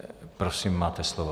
Prosím, máte slovo.